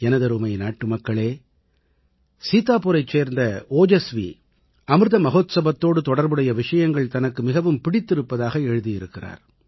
எனதருமை நாட்டுமக்களே சீத்தாபூரைச் சேர்ந்த ஓஜஸ்வி அமிர்த மஹோத்சவத்தோடு தொடர்புடைய விஷயங்கள் தனக்கு மிகவும் பிடித்திருப்பதாக எழுதியிருக்கிறார்